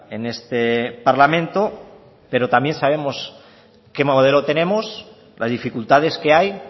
en este parlamento pero también sabemos qué modelo tenemos las dificultades que hay